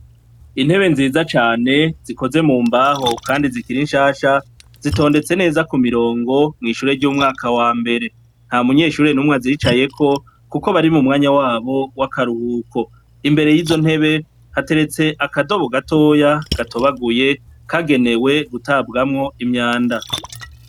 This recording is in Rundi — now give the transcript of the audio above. Intebe nziza cane zikozwe mumbaho kandi zikiri nshasha zitondetse neza cane ntanumwe azicayeko kuko bari mumwanya wabo wakaruhuko imbere izo ntebe hateretse akadobo gatoya gato yaguye kagenewe gutabwamwo imyanda.